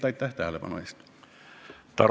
Aitäh tähelepanu eest!